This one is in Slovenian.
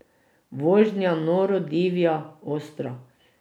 Vožnja noro divja, ostra.